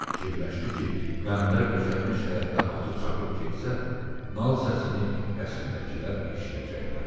Fikirləşdi ki, Qəmbər döşənmiş həyətdə atı çapıb getsə, nal səsini qəsrdəkilər eşidəcəklər.